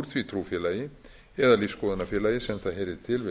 úr því trúfélagi eða lífsskoðunarfélagi sem það heyrir til við